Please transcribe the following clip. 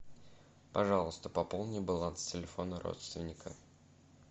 пожалуйста пополни баланс телефона родственника